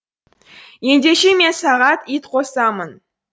ендеше мен саған ит қосамын